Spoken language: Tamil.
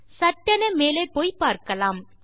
சட்டென மேலே போய் பார்க்கலாம்